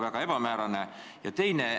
Praegu on formuleering väga ebamäärane.